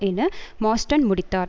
என மார்ஸ்டன் முடித்தார்